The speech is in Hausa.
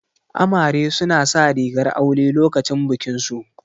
Amare su na sa rigar aure lokacin bikin su